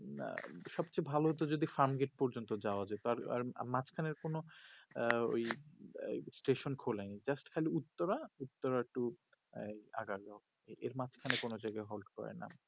আঃ সবচেয়ে ভালো হতো যদি হামগেট পর্যন্ত যাওয়া যেত আর মাজখান এর কোনো আঃ ওই stason খোলেনি jast খালি উত্তরা উত্তরা to আঃ আগালি এর মাঝ খানে কোনো জায়গা hold করে না